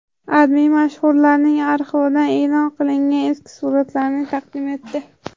AdMe mashhurlarning arxividan e’lon qilingan eski suratlarni taqdim etdi .